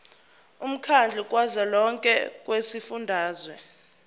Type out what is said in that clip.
womkhandlu kazwelonke wezifundazwe